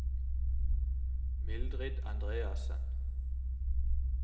Mildrid Andreassen